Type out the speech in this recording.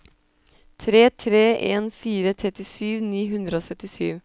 tre tre en fire trettisju ni hundre og syttisju